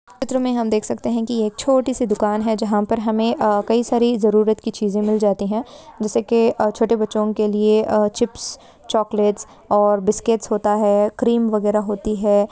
इस चित्र में हम देख सकते है की एक छोटीसी दूकान है वह पर हमें कई सारी जरुरत की चीजे मिल जाती है जैसे की छोटे बच्चो के लिए चिप्स चॉकलेट और बिस्किट्स होता है क्रीम वगैरा होती है।